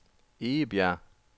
Egebjerg